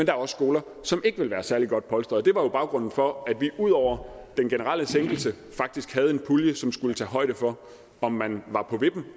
er også skoler som ikke vil være særlig godt polstret jo baggrunden for at vi ud over den generelle sænkelse faktisk havde en pulje som skulle tage højde for om man var på vippen